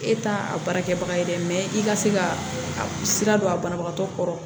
E t'a a baara kɛbaga ye dɛ i ka se ka sira don a banabagatɔ kɔrɔ